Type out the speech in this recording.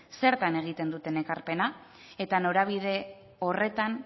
zertan egiten duten ekarpena eta norabide horretan